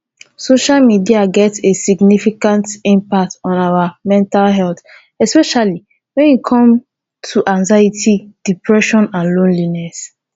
social media get a significant impact on our mental health especially when e come to anxiety depression and loneliness